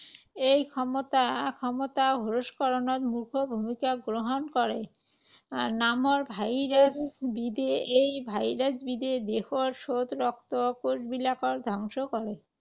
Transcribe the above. এই ক্ষমতা, ক্ষমতা হ্ৰাসকৰণত মুখ্য ভূমিকা গ্ৰহণ কৰে। আহ নামৰ ভাইৰাছবিধে। এই ভাইৰাছবিধে দেহৰ শ্বেত ৰক্ত কোষবিলাক ধ্বংস কৰে।